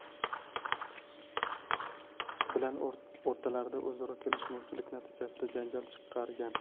bilan o‘rtalarida o‘zaro kelishmovchilik natijasida janjal chiqargan.